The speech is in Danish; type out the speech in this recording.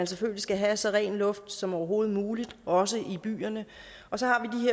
selvfølgelig skal have så ren luft som overhovedet muligt også i byerne så